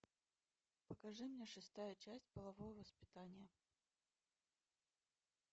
покажи мне шестая часть половое воспитание